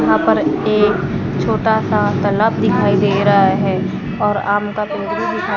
यहां पर एक छोटा सा तलब दिखाई दे रहा है और आम का पेड़ भी दिखाई--